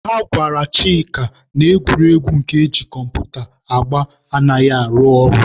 Ha gwara Chịka na egwuregwu nke eji kọmputa agba anaghị arụ ọrụ.